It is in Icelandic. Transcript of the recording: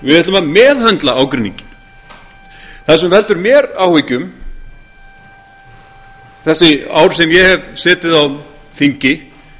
við ætlum að meðhöndla ágreininginn það sem veldur mér áhyggjum þessi ár sem ég hef setið á þingi